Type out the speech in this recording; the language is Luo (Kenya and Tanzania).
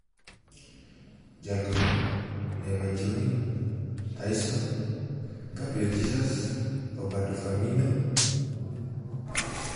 Joloyo: Neymar Jr (Paris St-Germain), Taison (Shakhtar Donetsk), Gabriel Jesus (Manchester City), Roberto Firmino (Liverpool)